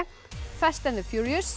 fast and